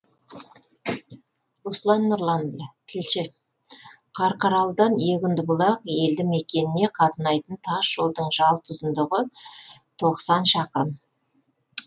руслан нұрланұлы тілші қарқаралыдан егіндібұлақ елді мекеніне қатынайтын тас жолдың жалпы ұзындығы тоқсан шақырым